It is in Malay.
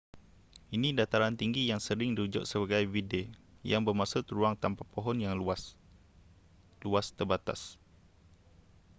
ini dataran tinggi yang sering dirujuk sebagai vidde yang bermaksud ruang tanpa pohon yang luas luas terbatas